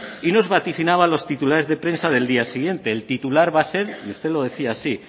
y nos vaticina los titulares de prensa del día siguiente el titular va a ser y usted lo decía así